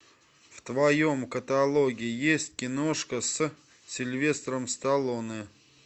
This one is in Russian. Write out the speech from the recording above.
в твоем каталоге есть киношка с сильвестром сталлоне